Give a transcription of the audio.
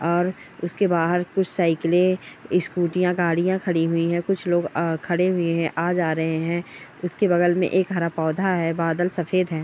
और उसके बाहर कुछ साईकले स्कूटीयां गाड़ियां खड़ी हुई है। कुछ लोग अ खड़े हुए हैं। आ जा रहे हैं। उसके बगल में एक हरा पौधा है। बादल सफेद हैं।